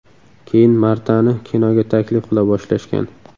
Keyin Martani kinoga taklif qila boshlashgan.